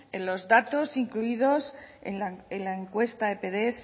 en los datos incluidos en la encuesta epds